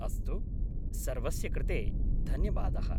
अस्तु, सर्वस्य कृते धन्यवादः।